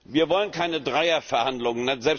Wir wollen keine Dreierverhandlungen.